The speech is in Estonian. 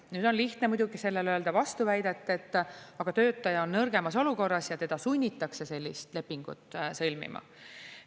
Nüüd on lihtne muidugi vastu väita, et aga töötaja on nõrgemas olukorras ja teda sunnitakse sellist lepingut sõlmima.